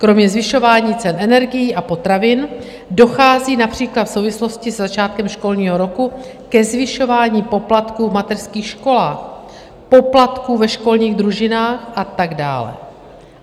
Kromě zvyšování cen energií a potravin dochází například v souvislosti se začátkem školního roku ke zvyšování poplatků v mateřských školách, poplatků ve školních družinách a tak dále.